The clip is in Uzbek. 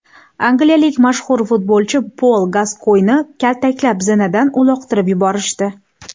Angliyalik mashhur futbolchi Pol Gaskoynni kaltaklab, zinadan uloqtirib yuborishdi.